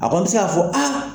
A kɔni bɛ se k'a fɔ aa.